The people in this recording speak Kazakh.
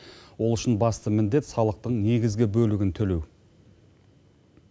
ол үшін басты міндет салықтың негізгі бөлігін төлеу